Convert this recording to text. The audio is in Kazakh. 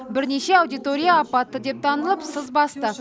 бірнеше аудитория апатты деп танылып сыз басты